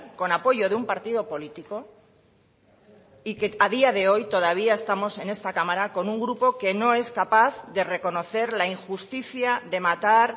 con apoyo de un partido político y que a día de hoy todavía estamos en esta cámara con un grupo que no es capaz de reconocer la injusticia de matar